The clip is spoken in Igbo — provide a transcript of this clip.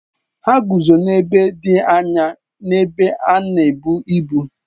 Ha guzo n'ebe dị anya n'ebe a na-ebu ibu